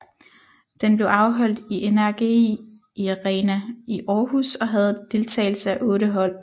Den blev afholdt i NRGi Arena i Århus og havde deltagelse af otte hold